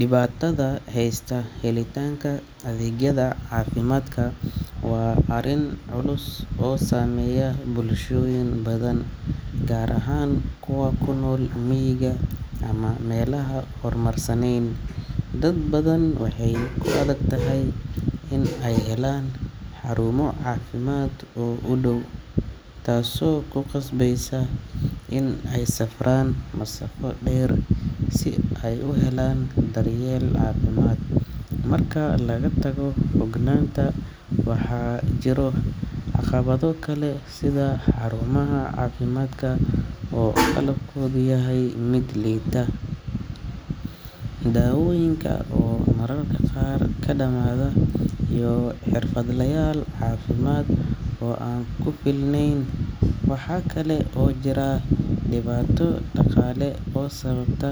Dhibaatooyinka heysta helitaanka adeegyada caafimaadka waa arrin culus oo saameeya bulshooyin badan, gaar ahaan kuwa ku nool miyiga ama meelaha aan horumarsanayn. Dad badan waxay ku adag tahay inay helaan xarumo caafimaad oo u dhow, taasoo ku qasbeysa inay safraan masaafo dheer si ay u helaan daryeel caafimaad. Marka laga tago fogaanta, waxaa jira caqabado kale sida xarumaha caafimaadka oo qalabkoodu yahay mid liita, daawooyinka oo mararka qaar ka dhamaada, iyo xirfadlayaal caafimaad oo aan ku filnayn. Waxaa kale oo jira dhibaato dhaqaale oo sababta